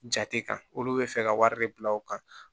Jate kan olu bɛ fɛ ka wari de bila u kan